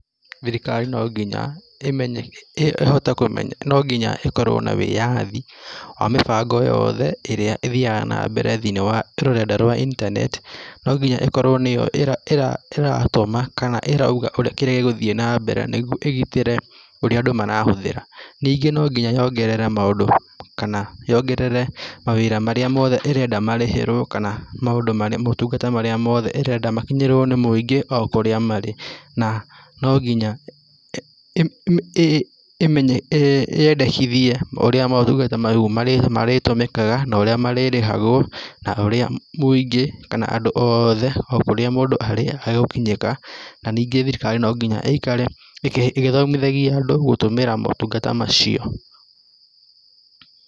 Thirikari nonginya ĩhote kũmenya nonginya ĩkorwo na wĩyathi wa mĩbango yothe ĩrĩa ĩthiaga na mbere thĩinĩ wa rũrenda rwa internet, nonginya ĩkorwo nĩyo ĩratũma kana ĩrauga kĩrĩa gĩgũthiĩ na mbere nĩguo ĩgitĩre ũrĩa andũ marahũthĩra. Ningĩ nonginya yongerere maũndũ kana yongerere mawĩra marĩa mothe ĩrenda marĩhĩrwo kana maũtungata marĩa ĩrenda makinyĩrwo nĩ mũingĩ okũrĩa marĩ na nonginya yendekithie ũrĩa maũtungata mau marĩtũmĩkaga na ũrĩa marĩrĩhagwo na ũrĩa mũingĩ kana andũ othe o kũrĩa mũndũ arĩ egũkinyĩrĩka na ningĩ thirikari nonginya ĩikare ĩgĩthomithagia andũ gũtũmĩra maũtungata macio.